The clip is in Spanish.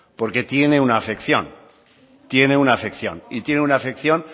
porque tiene una afección tiene una afección y tiene una afección